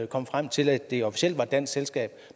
komme frem til at det officielt var et dansk selskab